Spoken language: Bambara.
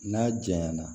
N'a janya na